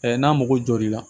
n'a mago jɔra i la